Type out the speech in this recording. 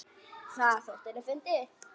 Það þótti henni fyndið.